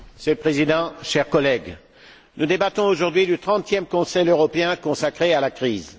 Monsieur le Président, chers collègues, nous débattons aujourd'hui du trentième Conseil européen consacré à la crise.